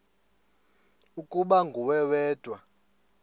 ukuba nguwe wedwa